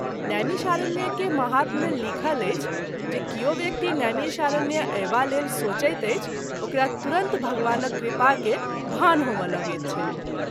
नैमिषारण्य के महात्म मे लिखल अछि जे किओ व्यक्ति नैमिषारण्य अयबा लेल सोचैत अछि ओकरा तुरत भगवानक कृपा के भान होमए लगैत छैक।